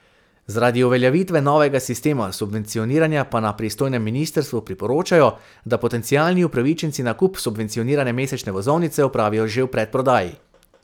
Zaradi uveljavitve novega sistema subvencioniranja pa na pristojnem ministrstvu priporočajo, da potencialni upravičenci nakup subvencionirane mesečne vozovnice opravijo že v predprodaji.